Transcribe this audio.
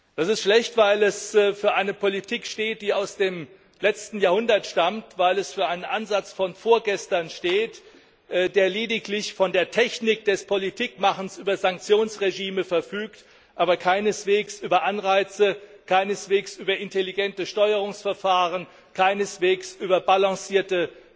Das ist schlecht, weil es für eine Politik steht, die aus dem letzten Jahrhundert stammt, weil es für einen Ansatz von vorgestern steht, der lediglich von der Technik des Politikmachens über Sanktionsregime verfügt, aber keineswegs über Anreize, über intelligente Steuerungsverfahren, über balancierte